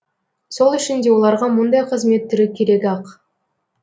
сол үшін де оларға мұндай қызмет түрі керек ақ